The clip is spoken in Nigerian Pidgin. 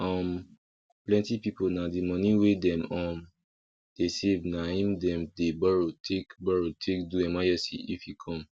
um plenty people na the money wey dem um dey save na him dem dey borrow take borrow take do emergency if e come